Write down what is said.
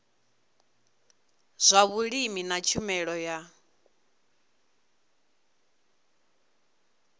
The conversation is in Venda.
zwa vhulimi na tshumelo ya